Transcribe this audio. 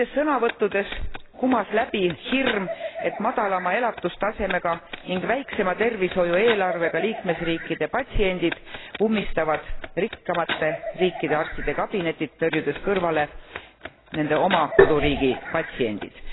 Nendes sõnavõttudes kumas läbi hirm, et madalama elatustasemega ning väiksema tervishoiueelarvega liikmesriikide patsiendid ummistavad rikkamate riikide arstide kabinetid, tõrjudes kõrvale nende oma koduriigi patsiendid.